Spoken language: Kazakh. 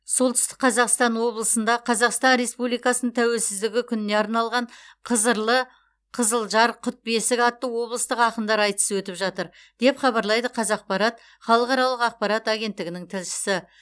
солтүстік қазақстан облысында қазақстан республикасының тәуелсіздігі күніне арналған қызырлы қызылжар құт бесік атты облыстық ақындар айтысы өтіп жатыр деп хабарлайды қазақпарат халықаралық ақпарат агеннтігінің тілшісі